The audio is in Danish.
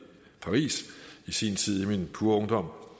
i paris i sin tid i min pure ungdom